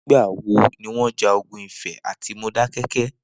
Nigbà wó niwọn jà ógùn Ifẹ àtí Módákẹkẹ̀?